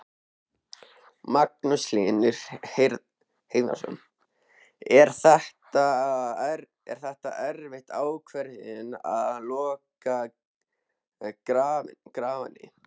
Magnús Hlynur Hreiðarsson: Er þetta erfið ákvörðun að loka Garðvangi?